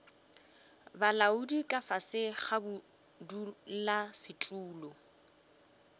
bolaodi ka fase ga bodulasetulo